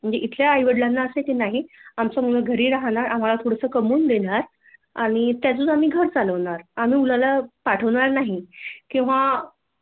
म्हणजे इथल्या आईवडीलांना असय की नाही आमचा मुलगा घरी राहणार आम्हाला पुढचं कमवून देणार आणि त्यातच आम्ही घर चालवणार आम्ही मुलाला पाठवणार नाही किंवा